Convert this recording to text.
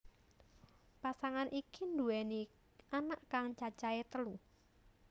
Pasangan iki nduweni anak kang cacahé telu